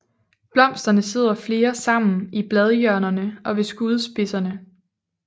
Blomsterne sidder flere sammen i bladhjørnerne og ved skudspidserne